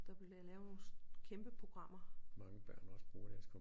Der bliver lavet nogle kæmpe programmer